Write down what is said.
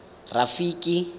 rafiki